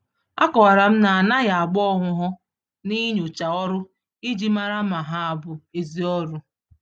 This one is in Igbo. A kọwaram na anaghị agba-ọhụhọ n'inyocha ọrụ iji màrà ma ha bụ ezi ọrụ